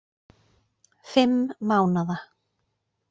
Fimm mánaða